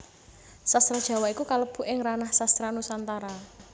Sastra Jawa iku kalebu ing ranah Sastra Nusantara